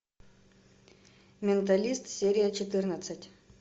менталист серия четырнадцать